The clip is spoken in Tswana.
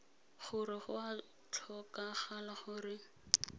gore go a tlhokagala gore